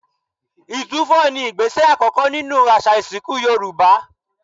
Ìtúfọ̀ ni ìgbésẹ̀ àkọ́kọ́ nínú àṣà ìsìnkú Yorùbá